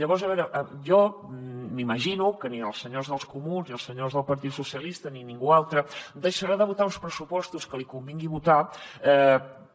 llavors a veure jo m’imagino que ni els senyors dels comuns ni els senyors del partit socialistes ni ningú altre deixarà de votar els pressupostos que li convingui votar